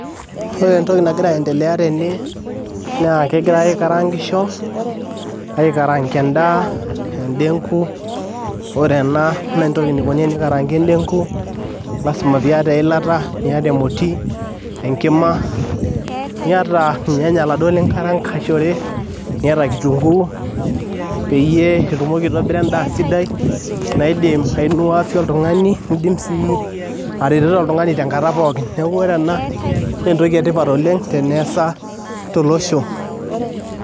Ore entoki nagira aiiendelea tene naa kegirai aikaraangisho aikaraanga endaa, endegu ore ena naa entoki naikoni tenikaraangi endegu, lasima piata eilata niata emoti o enkima, niata ilnyanya iladuo lingaraangishore, niata kitunguu peyie itumoki aitobira endaa sidai naidim aitaraposho oltung'ani niidim sii atareto oltung'ani tenkata pookin.